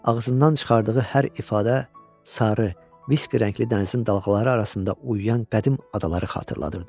Ağzından çıxardığı hər ifadə sarı, viski rəngli dənizin dalğaları arasında uyuyan qədim adaları xatırladırdı.